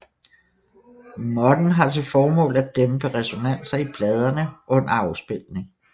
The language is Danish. Måtten har til formål at dæmpe resonanser i pladene under afspilning